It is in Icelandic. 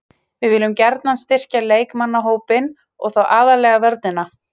Við viljum gjarnan styrkja leikmannahópinn og þá aðallega vörnina.